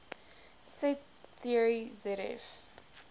set theory zf